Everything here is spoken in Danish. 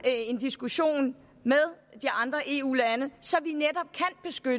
en diskussion med de andre eu lande så